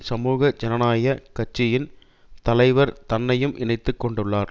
சமூக ஜனநாயக கட்சியின் தலைவர் தன்னையும் இணைத்து கொண்டுள்ளார்